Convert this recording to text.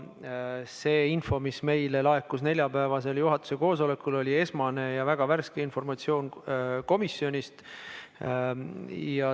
See info, mis meile laekus neljapäevasel juhatuse koosolekul, oli esmane ja väga värske informatsioon komisjonist.